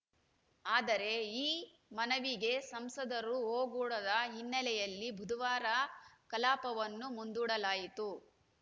ಆದರೆ ಈ ಮನವಿಗೆ ಸಂಸದರು ಓಗೊಡದ ಹಿನ್ನೆಲೆಯಲ್ಲಿ ಬುಧವಾರ ಕಲಾಪವನ್ನು ಮುಂದೂಡಲಾಯಿತು